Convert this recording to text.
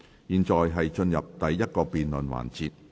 現在進入第一個辯論環節。